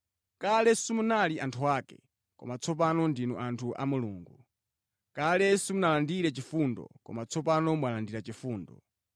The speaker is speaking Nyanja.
Kale simunali anthu ake, koma tsopano ndinu anthu a Mulungu. Kale simunalandire chifundo, koma tsopano mwalandira chifundo.